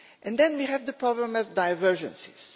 Then we have the problem of divergences.